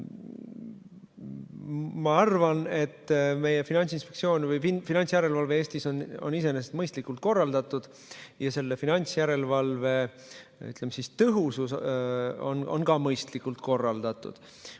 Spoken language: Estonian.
Ma arvan, et meie Finantsinspektsioon või üldse finantsjärelevalve Eestis on iseenesest mõistlikult korraldatud ja selle finantsjärelevalve tõhusus on samuti mõistlikult korraldatud.